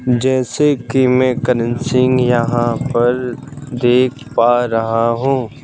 जैसे कि मैं करण सिंह यहां पर देख पा रहा हूं।